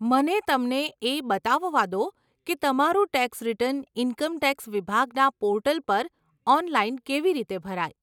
મને તમને એ બતાવવા દો કે તમારું ટેક્સ રીટર્ન ઇન્કમ ટેક્સ વિભાગના પોર્ટલ પર ઓનલાઈન કેવી રીતે ભરાય.